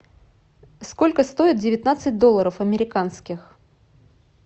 сколько стоит девятнадцать долларов американских